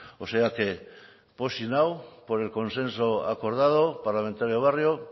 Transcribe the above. o sea que pozik nago por el consenso acordado parlamentario barrio